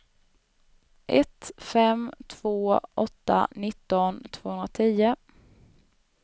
ett fem två åtta nitton tvåhundratio